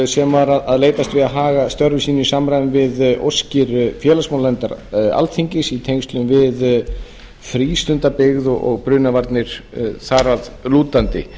sem var að leitast við að hafa störfum sínum í samræmi við óskir félagsmálanefndar alþingis í tengslum við frístundabyggð og brunavarnir þar að lútandi